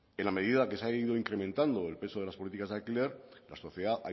en la medida que se ha ido incrementando el peso de las políticas de alquiler la sociedad